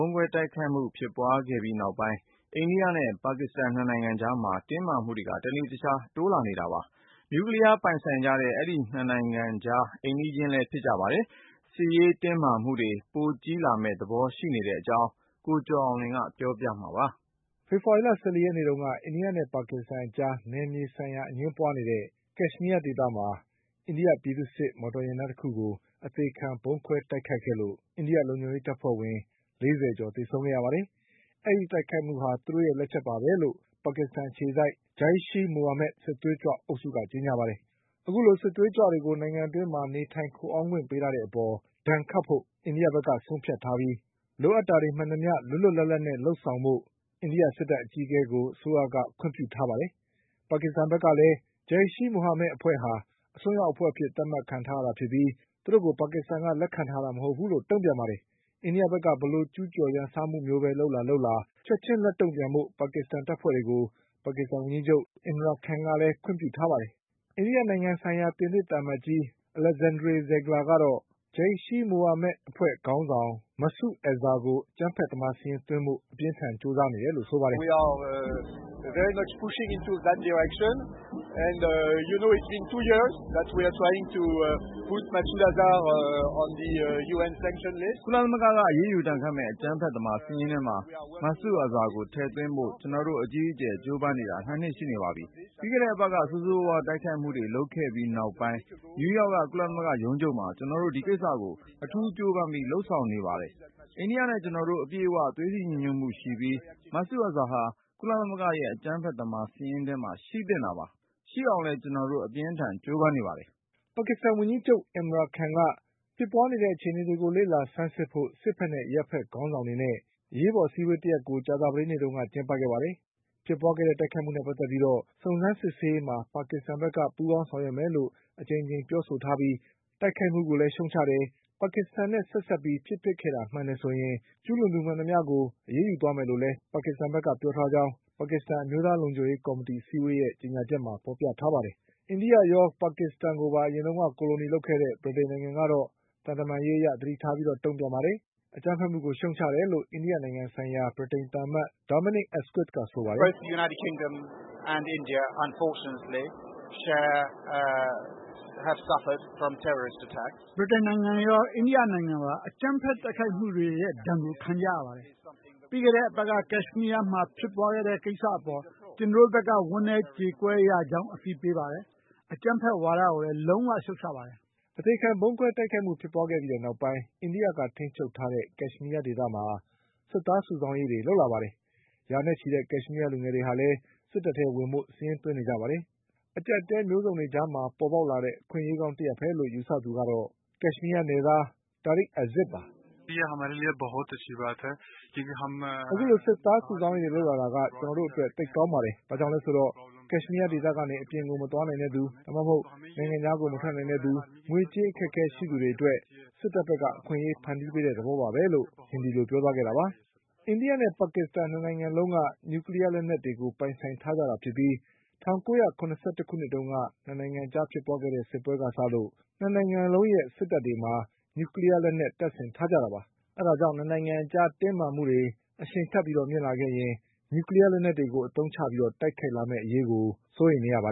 ုံးခွဲတိုက်ခိုက်မှုဖြစ်ပွါးခဲ့ပြီးနောက်ပိုင်း အိန္ဒိယနဲ့ ပါကစ္စတန် ၂နိုင်ငံအကြား တင်းမာမှုတွေက တနေ့တခြား ပိုတိုးလာနေပါတယ်။ နျူကလီးယားလက်နက ် ပိုင်ဆိုင်ထားကြတဲ့ အိမ်နီးချင်း၂နိုင်ငံအကြား စစ်ရေးတင်းမာမှု တွေ ပိုကြီးလာမယ့်အရေးကို စိုးရိမ်နေရတဲ့အကြောင်း ကိုကျော်အောင်လွင်က ဆက်ပြောပါလိမ့်မယ်။ ဖေဖေါ်ဝါရီလ ၁၄ရက်နေ့က အိန္ဒိယနဲ့ပါကစ္စတန်အကြားနယ်မြေဆိုင်ရာ အငြင်းပွားနေကြတဲ့ Kashmir ဒေသမှာ အိန္ဒိယ ပြည်သူ့စစ်မော်တော်ယာဉ်တန်းတခုကို အသေခံဗုံးခွဲတိုက်ခိုက်မှုလုပ်ခဲ့လို့ အိန္ဒိယလုံခြုံရေးတပ်ဖွဲ့ဝင်၄၀ ကျော် သေဆုံးခဲ့ပါတယ်။ ဒီတိုက်ခိုက်မှုဟာ သူတို့ရဲ့လက်ချက်ပဲလို့ ပါကစ္စတန်အခြေစိုက် Jaish-e-Mohammad စစ်သွေးကြွ အုပ်စုက ကြေညာပါတယ်။ အခုလို စစ်သွေးကြွတွေကို နိုင်ငံအတွင်း နေထိုင်ခိုအောင်းခွင့်ပေးထားတဲ့အပေါ် ဒဏ်ခတ်ဖို့ အိန္ဒိဘက် က ဆုံးဖြတ်ထားပြီး လိုအပ်တာတွေမှန်သမျှ လွတ်လွတ်လပ်လပ်နဲ့လုပ်ဆောင်ဖို့ အိန္ဒိယ စစ်တပ်အကြီးအကဲကို အစိုးရက ခွင့်ပြုထားပါတယ်။ ပါကစ္စတန်ဘက်ကလည်း Jaish-e-Mohammad အဖွဲ့ဟာ အစွန်းရောက်အဖွဲ့အဖြစ်သတ် မှတ်ခံထား ရတာဖြစ်ပြီး သူတို့ကို ပါကစ္စတန်က လက်ခံထားတာမဟုတ်ဘူးလို့ တုံ့ပြန်ပါတယ်။ အိန္ဒိယဘက်က ဘယ်လို ကျုးကျော် ရန်စမှုမျိုးပဲလုပ်လာလာ ချက်ချင်းလက်တုံ့ပြန်ဖို့ ပါကစ္စတန်တပ်ဖွဲ့တွေကို ပါကစ္စတန်ဝန်ကြီးချုပ် Imran Khan ကလည်း ခွင့်ပြုထားပါတယ်။ အိန္ဒိယနိုင်ငံဆိုင်ရာ ပြင်သစ်သံအမတ်ကြီး Alexandre Zieglerကတော့ Jaish-e-Mohammad အဖွဲ့ ခေါင်းဆောင် Masood Azharကို အကြမ်းဖက်သမားစာရင်းသွင်းဖို့အပြင်းအထန်ကြိုးစားနေတယ်လို့ ဆိုပါတယ်။ “ကုလသမဂ္ဂကအရေးယူဒဏ်ခတ်မယ့် အကြမ်းဖက်သမားစာရင်းထဲမှာ Masood Azharကို ထည့်သွင်းဖို့ ကျနော်တို့အကြီးအကျယ် ကြိုးပမ်းနေတာ ၂နှစ်ရှိနေပါပြီ။ ပြီးခဲ့တဲ့အပတ်က ဆိုးဆိုးဝါးဝါးတိုက်ခိုက်မှုတွေလုပ်ခဲ့ပြီး နောက်ပိုင်း နယူးယောက် က ကုလသမဂ္ဂဌာနချုပ်မှာ ကျနော်တို့ ဒီကိစ္စကို အထူးကြိုးပမ်းပြီးလုပ်ဆောင်နေပါတယ်။ အိန္ဒိယနဲ့ကျနော်တို့အပြည့်အ၀ သွေးစည်းညီညွတ်မှုရှိနေပြီး Masood Azharဟာ ကုလသမဂ္ဂရဲ့ အကြမ်းဖက်သမား စာရင်းထဲမှာရှိသင့်တာပါ။ ရှိအောင် လည်းကျနော်တို့ အပြင်းအထန်ကြိုးပမ်းနေပါတယ်” ပါကစ္စတန်ဝန်ကြီးချုပ် Imran Khanက ဖြစ်ပွားနေတဲ့အခြေအနေတွေကိုလေ့လာဆန်းစစ်ဖို့ စစ်ဘက်နဲ့ အရပ်ဘက်ခေါင်း ဆောင်တွေနဲ့ အရေးပေါ်အစည်းအဝေးတရပ် ကြာသပတေးနေ့တုန်းက ကျင်းပခဲ့ပါတယ်။ ဖြစ်ပွားခဲ့တဲ့တိုက်ခိုက်မှုနဲ့ ပတ်သက်ပြီး စုံစမ်း စစ်ဆေးရေးမှာ ပါကစ္စတန်ဘက်က ပူးပေါင်းဆောင်ရွက်မယ်လို့ အကြိမ်ကြိမ်ပြောဆိုထားပြီး တိုက်ခိုက်မှုကိုလည်းရှုတ်ချ တယ်၊ ပါကစ္စတန် နဲ့ဆက်စပ်ပြီးဖြစ်ပျက်ခဲ့တာမှန်တယ်ဆိုရင် ကျူးလွန်သူမှန်သမျှကို အရေးယူသွားမယ်လို့လည်း ပါကစ္စတန် ဘက်ကပြောထားကြောင်း ပါကစ္စတန် အမျိုးသားလုံခြုံရေးကော်မီတီအစည်း အဝေးရဲ့ ကြေညာချက်မှာ ဖေါ်ပြ ထားပါတယ်။ အိန္ဒိယရောပါကစ္စတန်ကိုပါ ကိုလိုနီလုပ်ခဲ့တဲ့ ဗြိတိန်နိုင်ငံကတော့ သံတမန်ရေးအရ သတိထားပြီးတုံပြန်ပါတယ်။ အကြမ်းဖက်မှုကိုရှုတ်ချတယ်လို့ အိန္ဒိနိုင်ငံဆိုင်ရာဗြိတိန်သံအမတ် Dominic Asquith က ဆိုပါတယ်။ “ဗြိတိန်နိုင်ငံရော၊ အိန္ဒိယနိုင်ငံပါ အကြမ်းဘက်တိုက်ခိုက်မှုတွေရဲ့ဒဏ်ကိုခံကြရပါတယ်။ ပြီးခဲ့တဲ့အပတ်က Kashmir ဒေ သမှာဖြစ်ပွါးခဲ့တဲ့ကိစ္စအပေါ် ကျနော်တို့ဘက်က ဝမ်းနည်းကြေကွဲရကြောင်းအသိပေးပါတယ်။ အကြမ်းဖက်ဝါဒကိုလည်း လုံးဝရှုတ်ချပါတယ်” အသေခံဗုံးခွဲတိုက်ခိုက်မှုဖြစ်ပွါးခဲ့ပြီးနောက်ပိုင်း အိန္ဒိယကထိန်းချုပ်တဲ့ Kashmir ဒေသမှာ စစ်သားစုဆောင်းရေးတွေ လုပ်လာပါတယ်။ ရာနဲ့ချီတဲ့ Kashmir လူငယ်တွေလည်း စစ်တပ်ထဲဝင်ဖို့ စာရင်းသွင်းနေကြပါတယ်။ အကျပ်အတည်း မျိုးစုံကြားမှာပေါ်လာတဲ့အခွင့်အရေးကောင်းတရပ်ပဲလို့ ယူဆတဲ့သူကတော့ Kashmir နယ်သား Tariq Aziz ပါ။ “အခုလိုစစ်သားစုဆောင်းရေးတွေလုပ်လာတာက ကျနော်တို့အတွက် သိပ်ကောင်းပါတယ်။ ဘာကြောင့်လဲဆိုတော့ Kashmir ဒေသကနေ အပြင်ကိုမသွားနိုင်တဲ့သူ၊ နိုင်ငံခြားမထွက်နိုင်တဲ့သူ၊ ငွေကြေးအခက်အခဲရှိသူတွေအတွက် စစ် တပ်ဘက်က အခွင့်အရေးဖန်တီးပေးတဲ့သဘောပါပဲ”လို့ ပြောသွားခဲ့တာပါ။ အိန္ဒိယနဲ့ ပါကစ္စတန်၂နိုင်ငံလုံးက နျူကလီးယားလက်နက်တွေပိုင်ဆိုင်ထားကြတာဖြစ်ပြီး ၁၉၇၁ခုနှစ်တုန်းက ၂နိုင်ငံ အကြား ဖြစ်ပွားခဲ့တဲ့ စစ်ပွဲကစပြီး ၂နိုင်ငံလုံးရဲ့ စစ်တပ်တွေမှာ နျူကလီးယား လက်နက်တပ်ဆင်ထားကြတာပါ။ အဲဒါ ကြောင့် ၂နိုင်ငံအကြားတင်းမာမှုတွေ အရှိန်ထပ်မြင့်လာခဲ့ရင် နျူကလီးယားလက်နက်တွေကိုအသုံးချပြီးတိုက်ခိုက်လာ ကြမယ့်အရေးကို စိုးရိမ်နေရတာပါ